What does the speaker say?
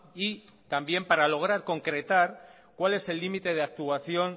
y también para lograr concretar cuál es el límite de actuación